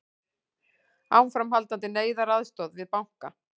Áframhaldandi neyðaraðstoð við banka